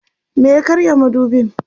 me ya karya madubin?